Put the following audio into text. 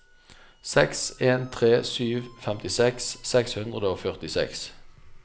seks en tre sju femtiseks seks hundre og førtiseks